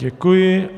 Děkuji.